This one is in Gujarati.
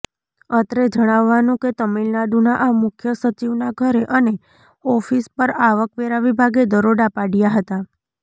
અત્રે જણાવવાનું કે તામિલનાડુના મુખ્ય સચિવના ઘરે અને ઓફિસ પર આવકવેરા વિભાગે દરોડા પાડ્યા હતાં